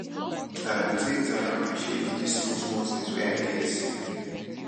i go take time appreciate dese small small tins wey i get